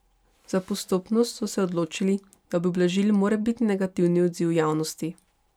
Za postopnost so se odločili, da bi ublažili morebitni negativni odziv javnosti.